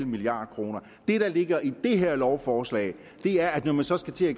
milliard kroner det der ligger i det her lovforslag er at når man så skal til at